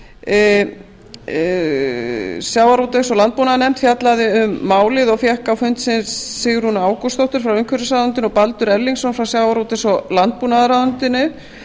níutíu og fimm sjávarútvegs og landbúnaðarnefnd fjallaði um málið og fékk á fund sinn sigrúnu ágústsdóttur frá umhverfisráðuneytinu og baldur erlingsson frá sjávarútvegs og landbúnaðarráðuneytinu